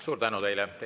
Suur tänu teile!